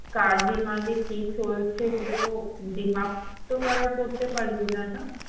কার এ কি চলছে তুই তো তো কারোর পড়তে পারবি না না